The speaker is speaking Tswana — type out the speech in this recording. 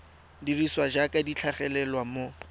dirisiwa jaaka di tlhagelela mo